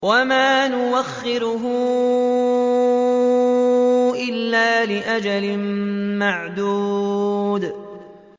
وَمَا نُؤَخِّرُهُ إِلَّا لِأَجَلٍ مَّعْدُودٍ